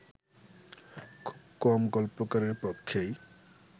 খুব কম গল্পকারের পক্ষেই